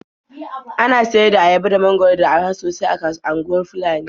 Ana sayar da ayaba da mangwaro da araha sosai a kasuwar Funtuwa.